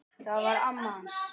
Það var amma hans